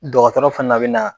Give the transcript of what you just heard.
Dɔgɔtɔrɔ fana bɛ na